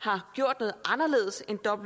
har gjort noget anderledes end